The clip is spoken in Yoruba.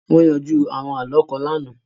Wọ́n yanjú àwọn àlọ́ kan lánàá